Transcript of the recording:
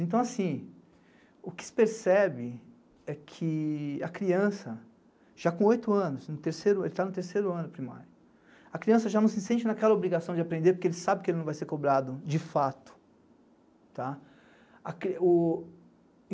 Então, assim, o que se percebe é que a criança, já com oito anos, no terceiro, ele está no terceiro ano primário, a criança já não se sente naquela obrigação de aprender porque ele sabe que ele não vai ser cobrado, de fato, tá? A cri, o